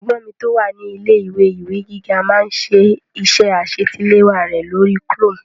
Ẹ̀gbọ́n mi tó wà ní ilé-ìwé ìwé gíga máá ń ṣe iṣẹ́ àṣetiléwá rẹ̀ lórí chrome